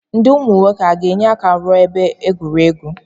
Ndị ụmụ nwoke a ga-enye aka wuo ebe egwuregwu?